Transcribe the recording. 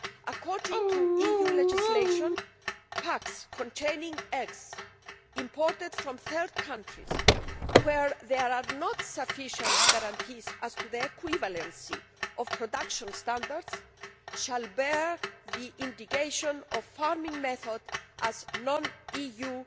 According to EU legislation, packs containing eggs imported from third countries where there are not sufficient guarantees as to the equivalency of production standards are to bear the indication of farming method as non EU